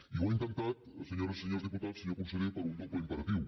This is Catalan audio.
i ho ha intentat senyores i senyors diputats senyor conseller per un doble imperatiu